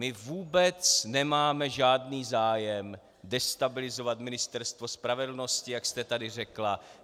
My vůbec nemáme žádný zájem destabilizovat Ministerstvo spravedlnosti, jak jste tady řekla.